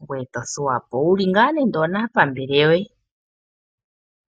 ngoye to thuwa po wuli ngaa nando onaapambele yoye .